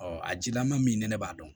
a jilaman min ni ne b'a dɔn